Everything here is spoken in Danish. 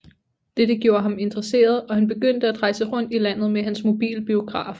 Dette gjorde ham interesseret og han begyndte at rejse rundt i landet med hans mobile biograf